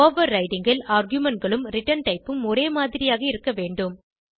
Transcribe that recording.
overriding ல் argumentகளும் return type ம் ஒரே மாதிரியாக இருக்கவேண்டும்